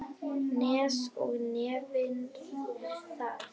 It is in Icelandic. Nes og nefnir það.